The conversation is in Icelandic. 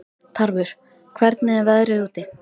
Tarfur, hvernig er veðrið úti?